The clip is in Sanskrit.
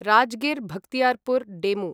राजगीर् बख्तियारपुर् डेमु